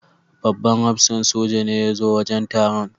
Babban hafsan soja ne ya zo wajen taron.